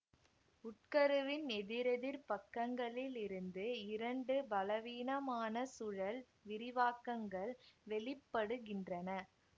உட்கருவின் எதிரெதிர் பக்கங்களில் இருந்து இரண்டு பலவீனமான சுழல் விரிவாக்கங்கள் வெளிப்படுகின்றன